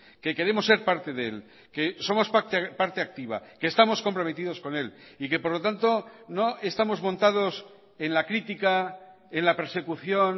que queremos ser parte de él que somos parte activa que estamos comprometidos con él y que por lo tanto no estamos montados en la crítica en la persecución